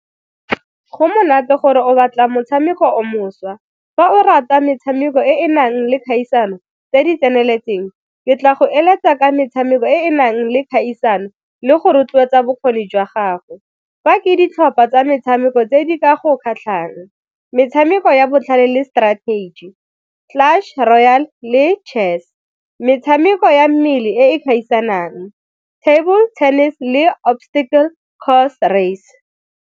Go monate gore o batla motshameko o mošwa, fa o rata metshameko e e nang le kgaisano tse di tseneletseng ke tla go eletsa ka metshameko e e nang le kgaisano le go rotloetsa bokgoni jwa gago. Fa ke ditlhopha tsa metshameko tse di ka go kgatlhang, metshameko ya botlhale le strategy, class, royal le chess, metshameko ya mmele e gaisanang table tennis le obstacle course race.